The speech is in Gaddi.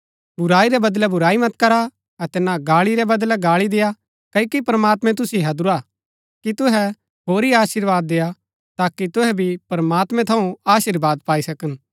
बुराई रै बदलै बुराई मत करा अतै ना गाळी रै बदलै गाळी देय्आ क्ओकि प्रमात्मैं तुसिओ हैदुरा हा कि तुहै होरी अशीर्वाद देय्आ ताकि तुहै भी प्रमात्मैं थऊँ अशीर्वाद पाई सकन